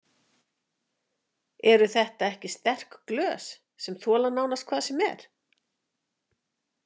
Eru þetta ekki sterk glös sem þola nánast hvað sem er?